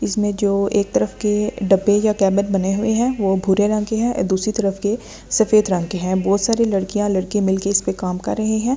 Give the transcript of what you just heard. इसमें जो एक तरफ के डब्बे या कैमर बने हुए हैं वो भूरे रंग के हैं दूसरी तरफ के सफेद रंग के हैं बहुत सारे लड़कियां लड़के मिलके इस पे काम कर रहे हैं ।